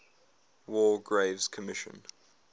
war graves commission